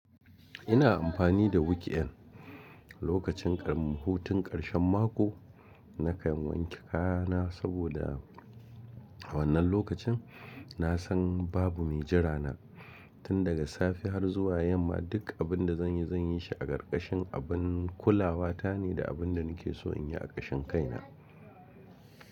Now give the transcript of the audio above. Ina amfani da weekend lokacin ƙam hutun karshen mako nakan wanke kaya na saboda a wannan lokacin na san babu me jira na. Tun daga safe har zuwa yamma duk abin da zan yi zan yi shi a ƙarƙashin abin kulawa ta ne da abin da nake so in yi a ƙarshen kaina.